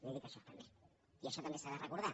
li dic això també i això també s’ha de recordar